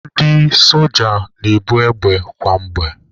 Ndị soja na-ebu égbè kwa mgbe.